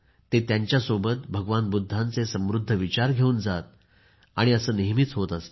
ते त्यांच्यासोबत भगवान बुद्धांचे समृद्ध विचार घेऊन जात आणि असे नेहमीच होत असते